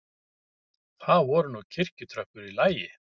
Það voru nú kirkjutröppur í lagi.